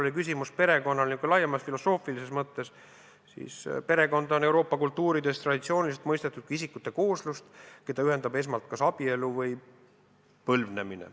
Kui su küsimus oli perekonnast laiemas filosoofilises mõttes, siis perekonda on Euroopa kultuuris traditsiooniliselt mõistetud kui isikute kooslust, keda ühendab esmalt kas abielu või põlvnemine.